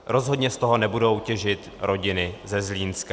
Rozhodně z toho nebudou těžit rodiny ze Zlínska.